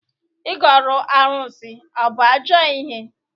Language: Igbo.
Igọrụ arụsị abụ ajọ ihe?